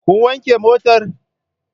Kun wanke motar?